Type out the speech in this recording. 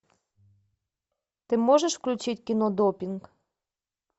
ты можешь включить кино допинг